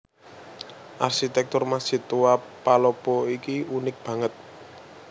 Arsitèktur Masjid Tua Palopo iki unik banget